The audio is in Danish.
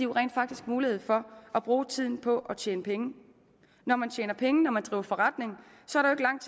rent faktisk mulighed for at bruge tiden på at tjene penge når man tjener penge når man driver forretning